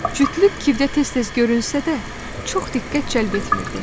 Cütlük Kevdə tez-tez görünsə də, çox diqqət cəlb etmirdi.